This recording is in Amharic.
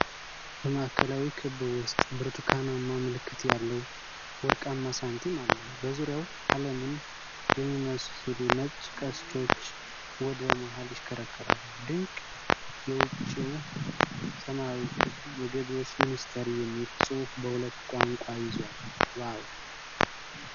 በማዕከላዊ ክብ ውስጥ ብርቱካናማ ምልክት ያለው ወርቃማ ሳንቲም አለ። በዙሪያው ዓለምን የሚመስሉ ነጭ ቀስቶች ወደ መሃል ይሽከረከራሉ። ድንቅ! የውጪው ሰማያዊ ክብ "የገቢዎች ሚኒስቴር" የሚል ጽሑፍ በሁለት ቋንቋ ይዟል። ዋው!